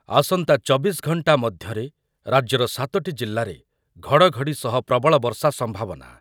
ଆସନ୍ତା ଚବିଶି ଘଣ୍ଟା ମଧ୍ୟରେ ରାଜ୍ୟର ସାତୋଟି ଜିଲ୍ଲାରେ ଘଡ଼ଘଡ଼ି ସହ ପ୍ରବଳ ବର୍ଷା ସମ୍ଭାବନା